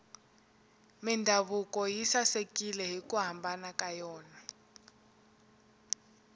mindhavuko yi sasekile hiku hambana ka yona